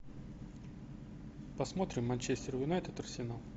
посмотрим манчестер юнайтед арсенал